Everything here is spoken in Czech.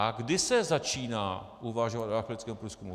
A kdy se začíná uvažovat o archeologickém průzkumu?